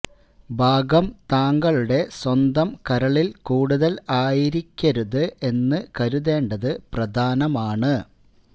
ഭാഗം താങ്കളുടെ സ്വന്തം കരളിൽ കൂടുതൽ ആയിരിക്കരുത് എന്ന് കരുതേണ്ടത് പ്രധാനമാണ്